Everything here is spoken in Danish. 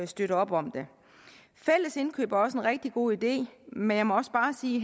støtte op om det fælles indkøb er også en rigtig god idé men jeg må også bare sige